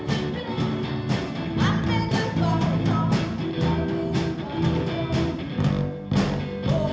við